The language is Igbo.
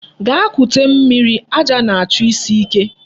Gaa kute mmiri, aja na-chọ isi ike.